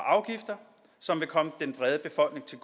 afgifter som vil komme den brede befolkning til